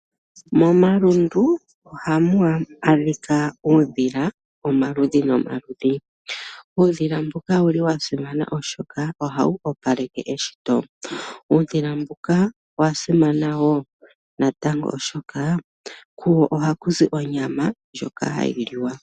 Momalundu ohamu adhika uudhila womaludhi nomaludhi. Uudhila mbuka owa simana, oshoka ohawu opaleke eshito. Uudhila mbuka owa simana wo natango oshoka kuwo ohaku zi onyama ndjoka hayi liwa.